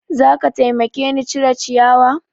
Za ka taimake ni cire ciyawa?